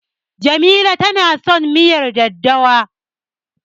Jamila tana son miyar daddawa.